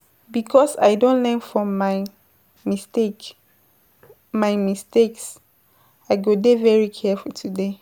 Because I don learn from my mistake, my mistakes, I go dey careful today.